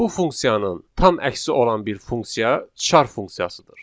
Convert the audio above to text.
Bu funksiyanın tam əksi olan bir funksiya char funksiyasıdır.